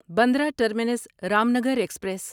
Bandra terminus Ramnagar express